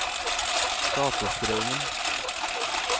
Skatestraumen